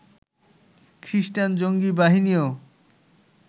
খ্রিষ্টান জঙ্গি বাহিনীও